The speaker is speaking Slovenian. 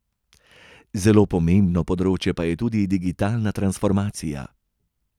Zelo pomembno področje pa je tudi digitalna transformacija.